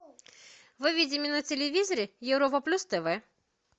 выведи мне на телевизоре европа плюс тв